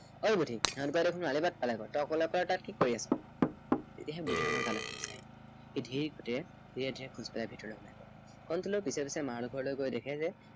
এই বুদ্ধি সিহঁতে দেখোন আলিবাট পালেগৈ তই অকলে অকলে কি কৰি আছ? তেতিয়াহে বুদ্ধিৰামৰ গালৈ হুচ আহিল। সি ধীৰে সুস্থিৰে ধীৰে ধীৰে খোজ কাঢ়ি ভিতৰলৈ সোমাই গল। কণটিলৌৱে পিছে পিছে মাড়ল ঘৰলৈ গৈ দেখে যে